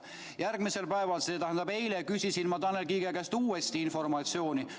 Järgmisel päeval, st eile, küsisin ma Tanel Kiige käest uuesti informatsiooni.